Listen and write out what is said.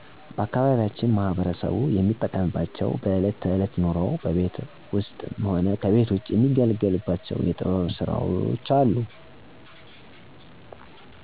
ባአካባቢያችን ማህበረሰቡ የሚጠቀምባቸው በእለት ተእለት ኑሮው በቤት ውስጥም ሆነ ከቤት ውጭ የሚገለገሉባቸው የጥበብ ስራዎች አሉ። ታዎቂ የጥበብና የእጅ ስራዎች የሚባሉ ከቆዳ የሚሰሩ ማጌጫ የሴትና የወንድ ፖርሳ፣ ጫማዎች፣ ሌዘር ጃኬቶች፣ ቀበቶ እና ለጌጣጌጥ የሚውሉ አገልግሎች ይሰራሉ። ከእንጨት የሚሰሩ ቁምሳጥን፣ አልጋ፣ ሶፋ ወንበር፣ የምግብ ጠረጴዛ፣ ኪችን፣ ቡፌ፣ ኩርሲ፣ ሙቀጫ፣ ገበታ የሚሰሩ ሲሆን ከሸክላ የሚሰሩት ደግሞ ምጣድ፣ ጀበና፣ ድስት፣ እንስራ፣ እና የመሳሰሉት ታዎቂ የጥበብ ስራዎች ይሰራሉ።